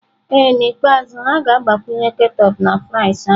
Ee N'ikpeazụ, ha ga-agbakwunye ketchup na fries anyị.